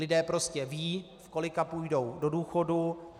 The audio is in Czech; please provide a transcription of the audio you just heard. Lidé prostě vědí, v kolika půjdou do důchodu.